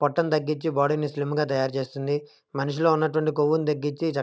పొట్టం తగించ్చి బాడీ ని స్లిమ్ గ తయారు చేస్తుంది. మనుషుల్లో ఉన్నవంటివి కొవ్వును తగ్గించి--